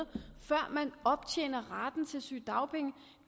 før man optjener retten til sygedagpenge